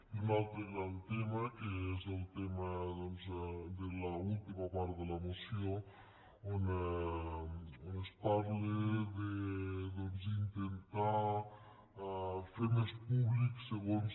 i un altre gran tema que és el tema de l’última part de la moció on es parla d’intentar fer més públic segons